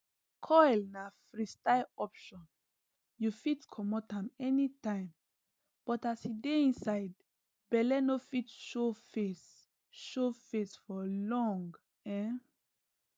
coil na freestyle option you fit comot am anytime but as e dey inside belle no fit show face show face for long um